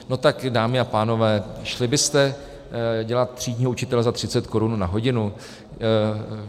No tak dámy a pánové, šli byste dělat třídního učitele za 30 korun za hodinu?